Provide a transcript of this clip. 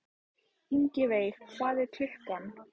Ingiveig, hvað er klukkan?